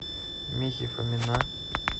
михи фомина